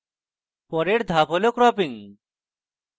পরের ধাপ হল cropping